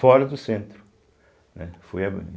Fora do centro, né, foi.